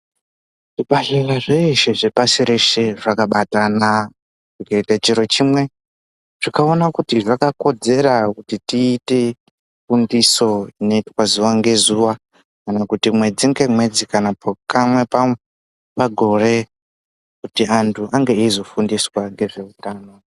Zvibhehlera zveshe zvepasi reshe zvakabatana zvikaite chiro chimwe zvikaona kuti zvakakodzera kuti tiite kundiso inoitwa zuwa ngezuwa kana kuti mwedzi ngemwedzi kana pamwe pagore kuti antu ange eyizofundiswa ngezveutano.